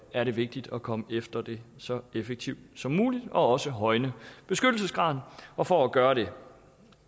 er det vigtigt at komme efter dem så effektivt som muligt og også højne beskyttelsesgraden og for at gøre det